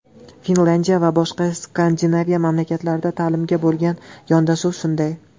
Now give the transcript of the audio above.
Finlyandiya va boshqa Skandinaviya mamlakatlarida ta’limga bo‘lgan yondashuv shunday.